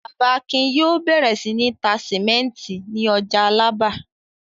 Bàbá Akin yóò bẹ̀rẹ̀ sí ní tá sìmẹ́ńtì ní ọjà Alábà.